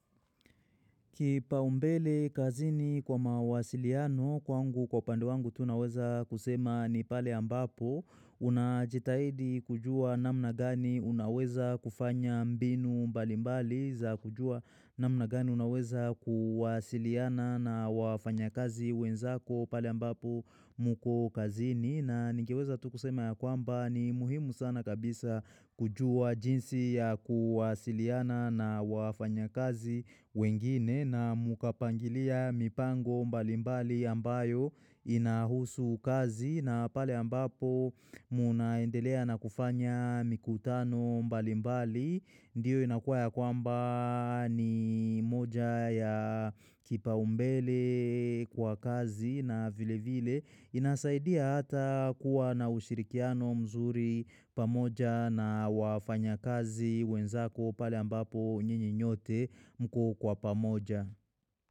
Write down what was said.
Kipaombele kazini kwa mawasiliano kwangu kwa upande wangu tu naweza kusema ni pale ambapo unajitahidi kujua namna gani unaweza kufanya mbinu mbali mbali za kujua namna gani unaweza kuwasiliana na wafanya kazi wenzako pale ambapo mko kazini. Na ningeweza tu kusema ya kwamba ni muhimu sana kabisa kujua jinsi ya kuwasiliana na wafanya kazi wengine na mkapangilia mipango mbalimbali ambayo inahusu kazi na pale ambapo munaendelea na kufanya mikutano mbalimbali. Ndiyo inakuwa ya kwamba ni moja ya kipaombele kwa kazi na vile vile inasaidia hata kuwa na ushirikiano mzuri pamoja na wafanya kazi wenzako pale ambapo nyinyi nyote mko kwa pamoja.